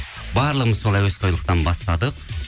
барлығымыз сол әуесқойлықтан бастадық